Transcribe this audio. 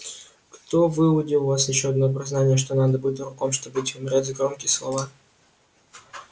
кто выудил у вас ещё одно признание что надо быть дураком чтобы идти умирать за громкие слова